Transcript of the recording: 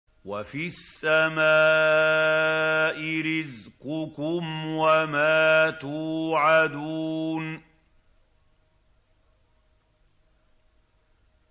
وَفِي السَّمَاءِ رِزْقُكُمْ وَمَا تُوعَدُونَ